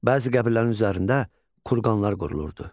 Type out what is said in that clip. Bəzi qəbilələrin üzərində kurqanlar qurulurdu.